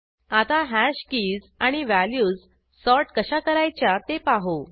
आता hash keys आणि values sort कशा करायच्या ते पाहू